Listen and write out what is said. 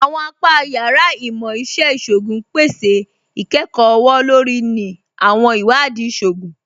Àwọn apà yàrá Imọ̀-iṣẹ̀ Ìṣògún pẹ̀sẹ̀ ikẹ́kọ ọwọ̀-lórí ni àwọn iwadii ìṣògún